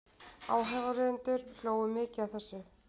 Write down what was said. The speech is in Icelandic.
Áheyrendur hlógu mikið að þessu.